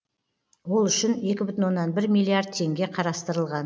ол үшін екі бүтін оннан бір миллиард теңге қарастырылған